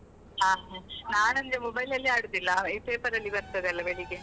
ಹಾ ಹಾಗೆ ನಾನಂದ್ರೆ mobile ಅಲ್ಲಿ ಆಡುದಿಲ್ಲ paper ಅಲ್ಲಿ ಬರ್ತದಲ್ಲ ಬೆಳಿಗ್ಗೆ.